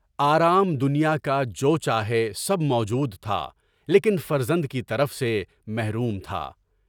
آرام دنیا کا جو چاہے سب موجود تھا، لیکن فرزند کی طرف سے محروم تھا۔